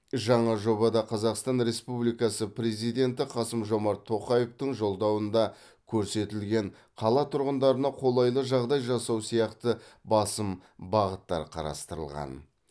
жаңа жобада қазақстан республикасы президенті қасым жомарт тоқаевтың жолдауында көрсетілген қала тұрғындарына қолайлы жағдай жасау сияқты басым бағыттар қарастырылған